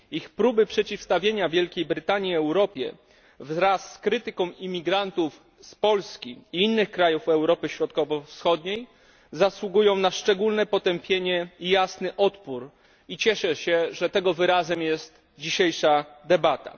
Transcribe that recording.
Ich próby przeciwstawienia Wielkiej Brytanii Europie, wraz z krytyką imigrantów z Polski i innych krajów Europy Środkowo Wschodniej, zasługują na szczególne potępienie i jasny odpór i cieszę się, że tego wyrazem jest dzisiejsza debata.